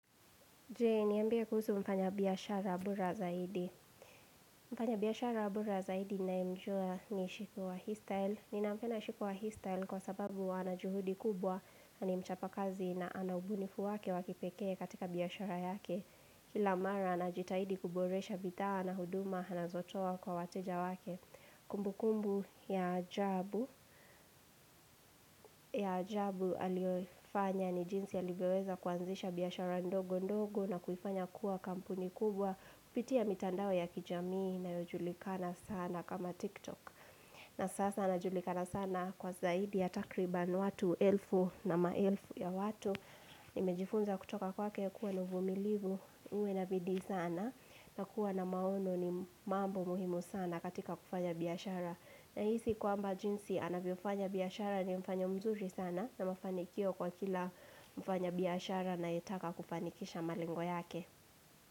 Je, niambie kuhusu mfanya biashara bora zaidi. Mfanya biashara bora zaidi ninayemjua ni shiku wa histyle. Ninampenda shiku wa histyle kwa sababu ana juhudi kubwa, na ni mchapa kazi na ana ubunifu wake wa kipekee katika biashara yake. Kila mara, anajitahidi kuboresha bidhaa na huduma, anazotoa kwa wateja wake. Kumbu kumbu ya ajabu, ya ajabu aliyoifanya ni jinsi alivyoweza kuanzisha biashara ndogo ndogo na kuifanya kuwa kampuni kubwa Kupitia mitandao ya kijamii inayojulikana sana kama TikTok na sasa anajulikana sana kwa zaidi ya takriban watu elfu na maelfu ya watu Nimejifunza kutoka kwake kuwa na uvumilivu uwe na bidii sana na kuwa na maono ni mambo muhimu sana katika kufanya biashara Nahisi kwamba jinsi anavyofanya biashara ni mfano mzuri sana na mafanikio kwa kila mfanya biashara anayetaka kufanikisha malengo yake.